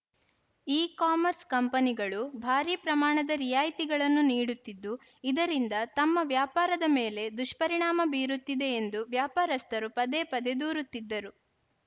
ecommerce ಕಂಪನಿಗಳು ಭಾರಿ ಪ್ರಮಾಣದ ರಿಯಾಯಿತಿಗಳನ್ನು ನೀಡುತ್ತಿದ್ದು ಇದರಿಂದ ತಮ್ಮ ವ್ಯಾಪಾರದ ಮೇಲೆ ದುಷ್ಪರಿಣಾಮ ಬೀರುತ್ತಿದೆ ಎಂದು ವ್ಯಾಪಾರಸ್ಥರು ಪದೇ ಪದೇ ದೂರುತ್ತಿದ್ದರು